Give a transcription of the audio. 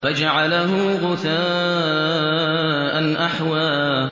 فَجَعَلَهُ غُثَاءً أَحْوَىٰ